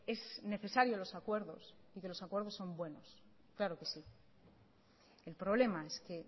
es necesario los acuerdos y que los acuerdos son buenos claro que sí el problema es que